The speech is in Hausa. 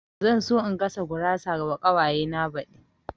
Zan so in gasa gurawa wa ƙawaye na baɗi